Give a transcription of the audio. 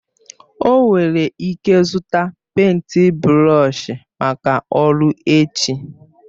O nwere ike zụta pèịnt brọọshi maka ọrụ echi